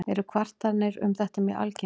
Eru kvartanir um þetta mjög algengar.